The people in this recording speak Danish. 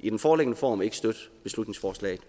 i den foreliggende form ikke støtte beslutningsforslaget